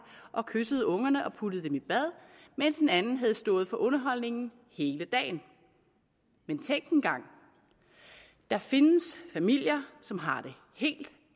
og kyssede ungerne og puttede dem i bad mens en anden havde stået for underholdningen hele dagen men tænk engang der findes familier som har det helt